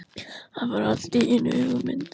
Hann fær allt í einu hugmynd.